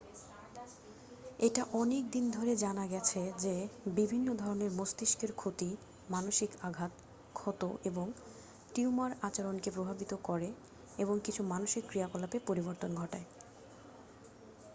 এটা অনেক দিন ধরে জানা গেছে যে বিভিন্ন ধরনের মস্তিষ্কের ক্ষতি মানসিক আঘাত ক্ষত এবং টিউমার আচরণকে প্রভাবিত করে এবং কিছু মানসিক ক্রিয়াকলাপে পরিবর্তন ঘটায়